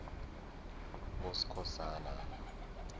boskhosana